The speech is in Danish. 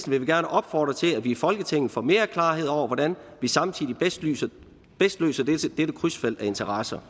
vil vi gerne opfordre til at vi i folketinget får mere klarhed over hvordan vi samtidig bedst løser dette krydsfelt af interesser